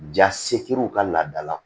Ja sekiriw ka laadala